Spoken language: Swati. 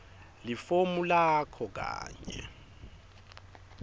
lifomu lakho kanye